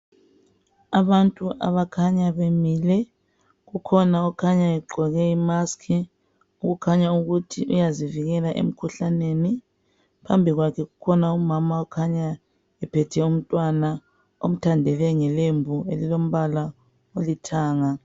Abantu abakhanya bemile ukhona okhanya egqoke imusk okukhanya ukuthi uyazivikela emikhuhlaneni phambi kwakhe kukhona umama okhanya ephethe umntwana umthandele ngelembu elilombala olithanga.